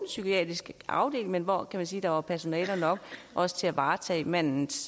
psykiatrisk afdeling men hvor der man sige var personale nok også til at varetage mandens